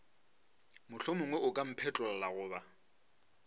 mohlomongwe o ka mphetlolla goba